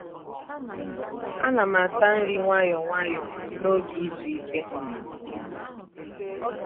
a na'm ata nri nwayọ nwayọ n’oge izu ike.